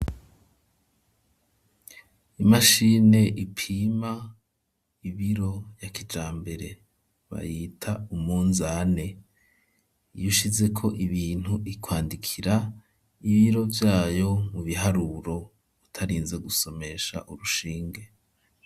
Imashine ipima ibiro ya kijambere, bayita umunzane, iyo ushizeko ibintu ikwandikira ibiro vyayo mu biharuro, utarinze gusomesha urushinge.